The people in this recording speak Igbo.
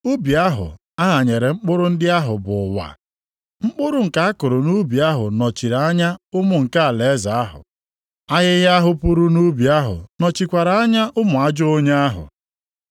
Ubi ahụ a ghanyere mkpụrụ ndị ahụ bụ ụwa. Mkpụrụ nke a kụrụ nʼubi ahụ nọchiri anya ụmụ nke alaeze ahụ. Ahịhịa ahụ puru nʼubi ahụ nọchikwara anya ụmụ ajọ onye ahụ.